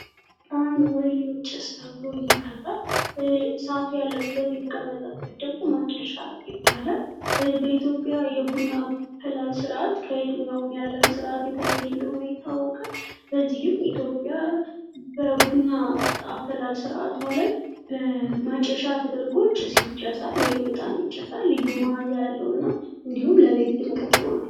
ዕጣን ወይም ጭስ ተብሎ ይጠራል። ያለበት ወይም የተቀመጠበት ደግሞ ማጨሻ ይባላል። በኢትዮጵያ የቡና አፈላል ስርዓት ከየትኛዉም የአለም ስርዓት የተለየ እንደሆነ ይታወቃል። በዚህም ኢትዮጵያ በቡና አፈላል ስርዓቷ ላይ በማጨሻ ተደርጎ ጭስ ይጨሳል። ወይም እጣን ይጨሳል። ላዩ መዐዛ ያለው እንዲሁም ለቤት ድምቀት ይሆናል።